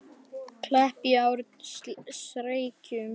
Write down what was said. Kleppjárnsreykjum